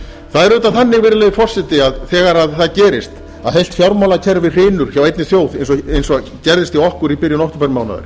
það er auðvitað þannig virðulegi forseti að þegar það gerist að heilt fjármálakerfi hrynur hjá einni þjóð eins og gerðist hjá okkur í byrjun októbermánaðar